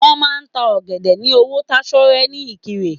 Wọn máa n ta ọ̀gẹ̀dẹ̀ ní owó tásọ́rẹ́ ní ìkirè.